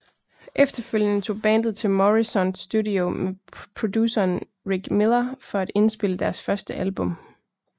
Efterfølgende tog bandet til Morrisound Studio med produceren Rick Miller for at indspille deres første album